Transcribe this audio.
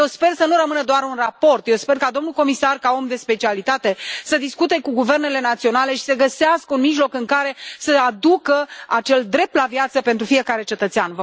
Eu sper să nu rămână doar un raport, eu sper ca domnul comisar, ca om de specialitate, să discute cu guvernele naționale și să găsească un mijloc prin care să aducă acel drept la viață pentru fiecare cetățean.